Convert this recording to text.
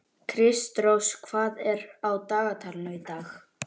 Kristrós, hvað er á dagatalinu í dag?